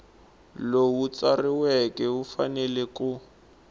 lowu tsariweke wu fanele ku